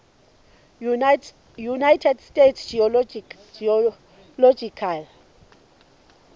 united states geological